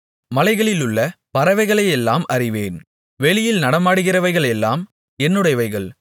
மலைகளிலுள்ள பறவைகளையெல்லாம் அறிவேன் வெளியில் நடமாடுகிறவைகளெல்லாம் என்னுடையவைகள்